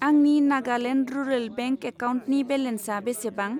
आंनि Nagaland rural bank एकाउन्टनि बेलेन्सा बेसेबां?